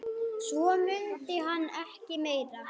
Svo mundi hann ekki meira.